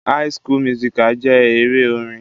High school musical jẹ́ eré orin.